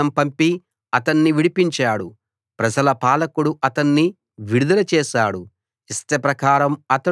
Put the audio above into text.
రాజు వర్తమానం పంపి అతణ్ణి విడిపించాడు ప్రజల పాలకుడు అతణ్ణి విడుదల చేశాడు